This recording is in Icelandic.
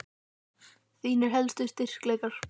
Þínir helstu styrkleikar?